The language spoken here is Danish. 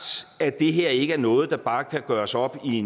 at det her ikke er noget der bare kan gøres op i